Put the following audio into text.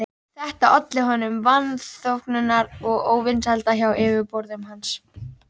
Þetta olli honum vanþóknunar og óvinsælda hjá yfirboðurum hans.